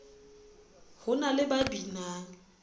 ho na le ba binang